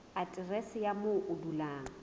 aterese ya moo o dulang